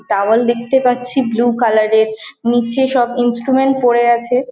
Towel দেখতে পাচ্ছি blue colour এর নিচে সব ইন্সট্রুমেন্ট পড়ে আছে।